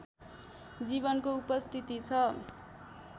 जीवनको उपस्थिति छ